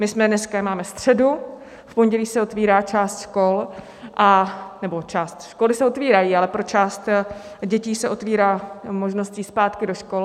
My jsme dneska, máme středu, v pondělí se otvírá část škol - anebo část, školy se otvírají, ale pro část dětí se otvírá možnost jít zpátky do škol.